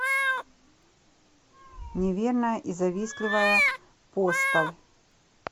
неверная и завистливая поставь